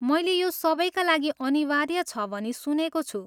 मैले यो सबैका लागि अनिवार्य छ भनी सुनेको छु।